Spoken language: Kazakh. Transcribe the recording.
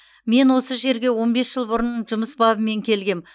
мен осы жерге он бес жыл бұрын жұмыс бабымен келгем